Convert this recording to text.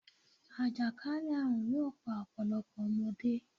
Àjàkálẹ̀ àrùn yóò pa ọ̀pọ̀lọpọ̀ ọmọdé.